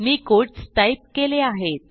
मी quotes type केले आहेत